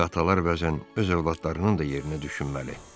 Axı atalar bəzən öz övladlarının da yerinə düşünməli.